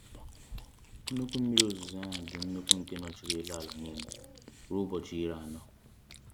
Nnukwu mmiri ozuzo a dị nnukwu nke nọchiri elu ala niile ruo ụbọchị iri anọ.